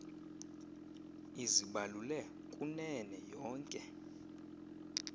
izibalule kunene yonke